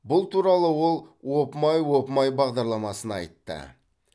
бұл туралы ол опмай опмай бағадарламасына айтты